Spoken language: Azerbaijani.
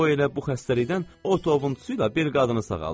O elə bu xəstəlikdən otovuntusuyla bir qadını sağaldıb.